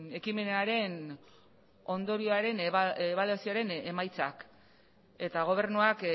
ekimenaren ondorioaren ebaluazioaren emaitzak eta gobernuak